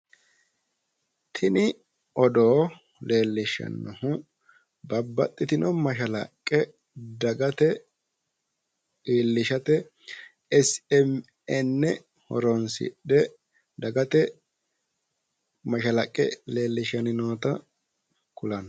Tini odoo leellishshannohu babbaxitino mashalaqqe dagate iillishate smn horoonsidhe dagate mashalaqqe leellishshanni noota kulanno.